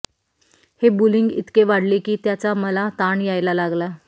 हे बुलिंग इतके वाढले की त्याचा मला ताण यायला लागला